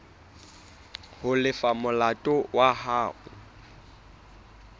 ho lefa molato wa hao